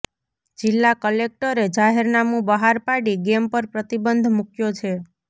જિલ્લા કલેક્ટરે જાહેરનામું બહાર પાડી ગેમ પર પ્રતિબંધ મૂક્યો છે